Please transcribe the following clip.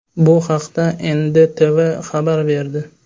Bu haqda NDTV xabar berdi .